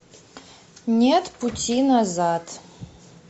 нет пути назад